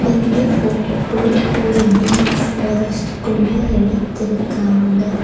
இந்த ஃபோட்டோ ஒரு deep forest குள்ள எடுத்துருக்காங்க.